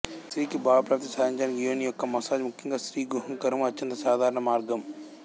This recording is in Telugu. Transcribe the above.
స్త్రీకి భావప్రాప్తి సాధించడానికి యోని యొక్క మసాజ్ ముఖ్యంగా స్త్రీగుహ్యాంకురము అత్యంత సాధారణ మార్గం